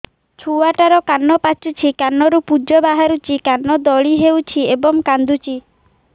ଛୁଆ ଟା ର କାନ ପାଚୁଛି କାନରୁ ପୂଜ ବାହାରୁଛି କାନ ଦଳି ହେଉଛି ଏବଂ କାନ୍ଦୁଚି